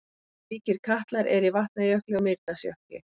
Slíkir katlar eru í Vatnajökli og Mýrdalsjökli.